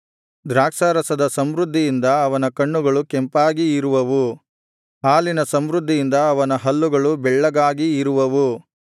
ದ್ರಾಕ್ಷಾರಸದ ಸಮೃದ್ಧಿಯಿಂದ ಅವನ ಕಣ್ಣುಗಳು ಕೆಂಪಾಗಿ ಇರುವವು ಹಾಲಿನ ಸಮೃದ್ಧಿಯಿಂದ ಅವನ ಹಲ್ಲುಗಳು ಬೆಳ್ಳಗಾಗಿ ಇರುವವು